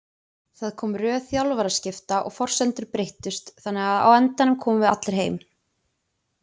Það kom röð þjálfaraskipta og forsendur breyttust þannig að á endanum komum við allir heim.